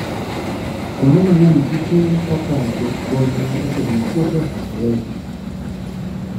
Kuonde mang'eny, kute kaka det-bonyo osemiyo puothe okethore.